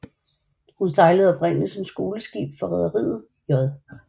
Hun sejlede oprindeligt som skoleskib for rederiet J